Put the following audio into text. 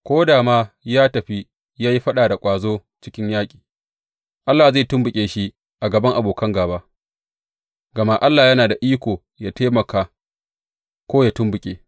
Ko da ma ya tafi ya yi faɗa da ƙwazo a cikin yaƙi, Allah zai tumɓuke shi a gaban abokan gāba, gama Allah yana da iko yă taimaka ko yă tumɓuke.